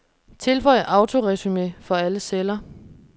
Tilføj autoresumé for alle celler.